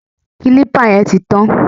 Kílípà yẹn ti tàn